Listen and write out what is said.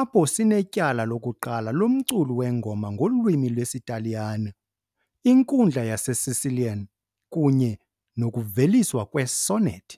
apho sinetyala lokuqala lomculo wengoma ngolwimi lwesiTaliyane, inkundla yaseSicilian, kunye nokuveliswa kwe-sonnet .